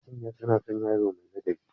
Manya suna son yaro mai ladabi.